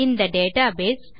இந்த டேட்டாபேஸ்